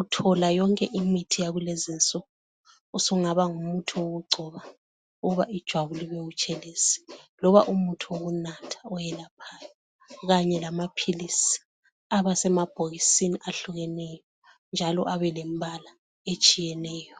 uthola yonke imithi yakulezinsuku usungaba umuthi wokugcoba ijwabu libe butshelezi loba umuthi wokunatha oyelaphayo Kanye lamaphilisi aba semabhokisini ahlukeneyo njalo abe lembala etshiyeneyo.